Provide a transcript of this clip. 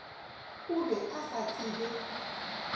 o be a sa tsebe